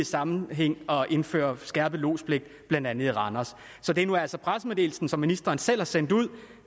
sammenhæng har besluttet at indføre skærpet lodspligt blandt andet i randers så det er nu altså i pressemeddelelsen som ministeren selv har sendt ud